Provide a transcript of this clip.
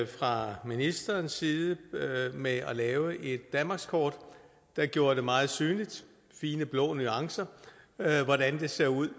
fra ministerens side med at lave et danmarkskort der gjorde det meget synligt i fine blå nuancer hvordan det ser ud